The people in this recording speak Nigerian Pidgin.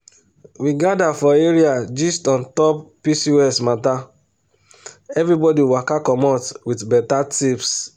we gather for area gist on top pcos matter everybody waka commot with better tips